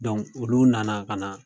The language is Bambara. Donk olu nana ka na